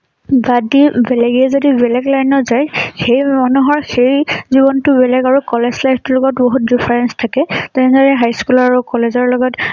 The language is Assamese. বাদ দি বেলেগে যদি বেলেগ line ত যাই। সেই মানুহৰ সেই জীৱনটো বেলেগ আৰু কলেজ life টো বহুত difference থাকে। তেনেদৰে high school আৰু কলেজৰ লগত